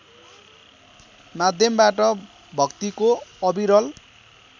माध्यमबाट भक्तिको अविरल